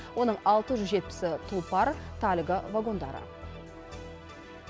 оның алты жүз жетпісі тұлпар тальго вагондары